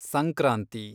Sankranti